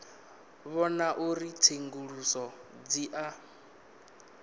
vhona uri tsenguluso dzi a